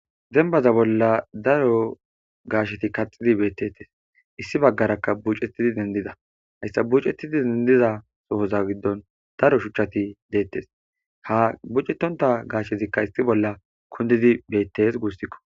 Dembaza bolla daro gaasheti kaxidi beettettes issi baggarakka bucettidi dendida hayssa bucettidi dendiza sohoza giddon daro shuchchati deettes ha bucetonta gashezikka issi bolla kundidi beettes guussikko